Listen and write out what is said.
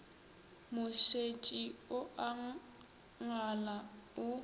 mošetši o a ngala o